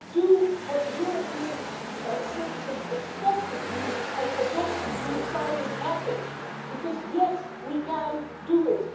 Do what the European citizens expect of you and adopt the asylum package, because yes we can do it.